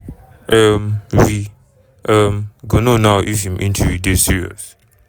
um we um go know now if im injury dey serious.